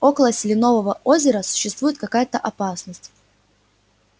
около селенового озера существует какая-то опасность